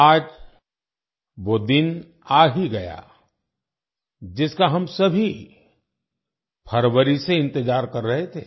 आज वो दिन आ ही गया जिसका हम सभी फरवरी से इंतजार कर रहे थे